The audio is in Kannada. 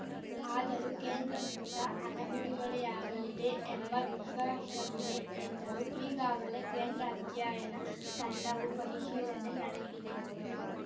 ಆದರೂ ಕೇಂದ್ರದಿಂದ ಹಣ ಬಿಡುಗಡೆಯಾಗಲಿದೆ ಎಂಬ ವಿಶ್ವಾಶವಿದೆ ಎಂದರು ಈಗಾಗಲೇ ಕೇಂದ್ರ ಅಧ್ಯಯನ ತಂಡವೂ ಪರಿಶೀಲನೆ ನಡೆಶಿದೆ